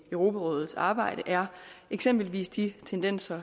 europarådets arbejde er eksempelvis de tendenser